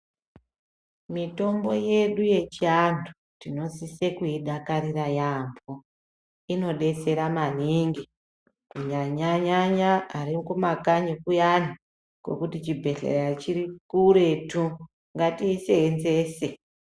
Mitombo yedu yechiantu, tinosise kuidakarira yaampho. Inodetsera maningi kunyanya-nyanya ari kumakanyi kuyani ,kokuti chibhedhlera chiri kuretu ,ngatiiseenzese.